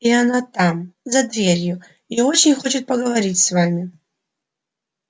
и она там за дверью и очень хочет поговорить с вами